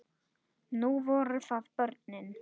Nú voru það börnin.